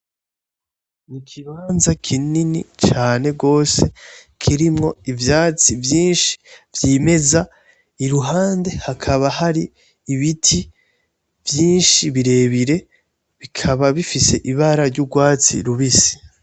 Ikibanza kinini cane gose kirimwo ivyatsi vyinshi vyimeza iruhande hakaba hari ibiti vyinshi birebire bikaba bifise ibara ry'urwatsi rubisi.